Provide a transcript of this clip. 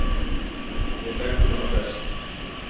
Við þekktum hana best.